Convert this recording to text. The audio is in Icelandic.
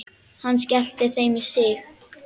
Hann skellti þeim í sig.